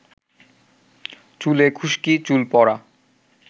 চুলে খুশকি, চুল পড়া,